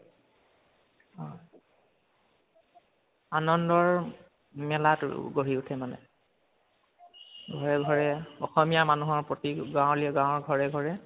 হয়, আনন্দৰ মেলাটো গঢ়ি উঠে, মানে। ঘৰে ঘৰে, অসমীয়া মানুহৰ প্ৰতি গাওলীয়া, গাওঁৰ ঘৰে ঘৰে